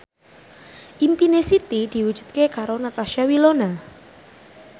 impine Siti diwujudke karo Natasha Wilona